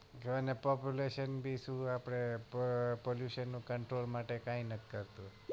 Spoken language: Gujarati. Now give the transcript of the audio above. જોને pollution બીજું આપડે પ pollution control માટે કાઈ નથ કરતુ